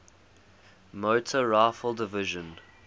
motor rifle division